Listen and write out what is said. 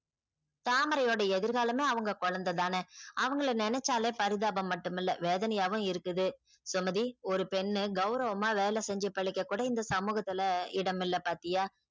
தாமரையோட எதிர் காலமே அவங்க கொழந்த தான அவங்கள நெனச்சாலே பரிதாபம் மட்டும் இல்ல வேதனையாவும் இருக்குது சுமதி ஒரு பெண்ணு கௌரவமா வேலை செஞ்சி பிழைக்க கூட இந்த சமூகத்துல இடம் இல்ல பாத்தியா